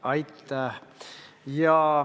Aitäh!